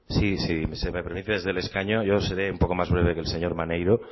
sí si se me permite desde el escaño yo seré un poco más breve que el señor maneiro